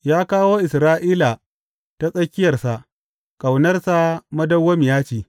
Ya kawo Isra’ila ta tsakiyarsa, Ƙaunarsa madawwamiya ce.